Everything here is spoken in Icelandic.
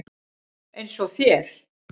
Eins og þér.